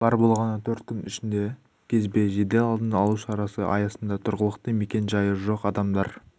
бар болғаны төрт күн ішінде кезбе жедел алдын алу шарасы аясында тұрғылықты мекен жайы жоқ адамдар